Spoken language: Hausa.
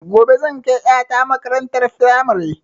Gobe zan kai ƴa ta makarantar firamare